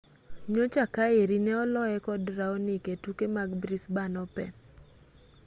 nyocha kaeri ne oloye kod raonic e tuke mag brisbane open